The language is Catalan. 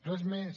res més